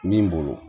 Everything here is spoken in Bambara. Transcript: Min bolo